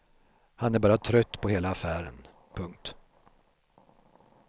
Han är bara trött på hela affären. punkt